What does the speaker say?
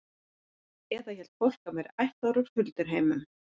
Eða hélt fólk að hann væri ættaður úr hulduheimum?